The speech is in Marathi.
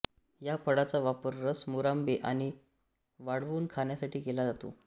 या फळाचा वापर रस मुरांबे आणि वाळवून खाण्यासाठी केला जातो